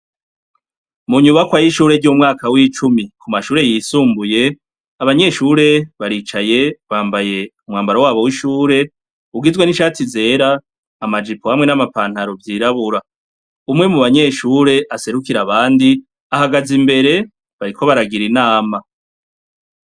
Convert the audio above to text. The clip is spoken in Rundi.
Mu nyubakwa y'ishure r'umwaka w'icumi ku mashure yisumbuye, abanyeshure baricaye bambaye umwambaro wabo w'ishure, ugizwe n'ishati zera, amajipo hamwe n'amapantaro vyirabura. Umwe mu banyeshure aserukira abandi ahagaze imbere, bariko baragira inama.